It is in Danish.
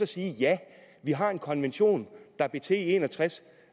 sige ja vi har en konvention der blev til i nitten en og tres